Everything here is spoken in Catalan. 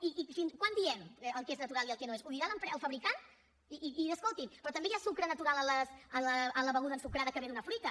i quan diem el que és natural i el que no ho és ho dirà el fabricant i escolti’m també hi ha sucre natural en la beguda ensucrada que ve d’una fruita